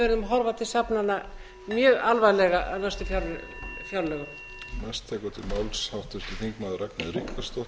verðum að horfa til safnanna mjög alvarlega á næstu fjárlögum